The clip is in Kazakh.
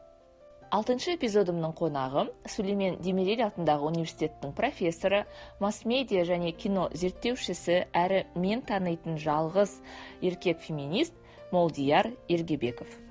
алтыншы эпизодымның қонағы сүлеймен демирель атындағы университеттің профессоры масс медиа және кино зерттеушісі әрі мен танитын жалғыз еркек феминист молдияр ергебеков